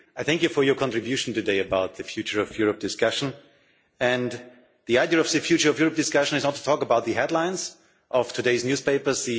I thank you for your contribution today about the Future of Europe' discussion. The idea of the discussion is not to talk about the headlines of today's newspapers.